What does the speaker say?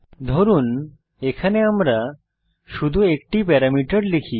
ধরুন এখানে আমরা শুধু একটি প্যারামিটার লিখি